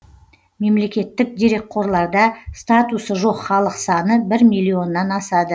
мемлекеттік дерекқорларда статусы жоқ халық саны миллионнан асады